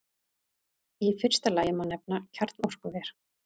Í fyrsta lagi má nefna kjarnorkuver.